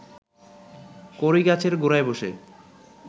কড়ই গাছের গোড়ায় বসে